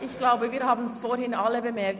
Ich glaube, wir haben es vorhin alle bemerkt: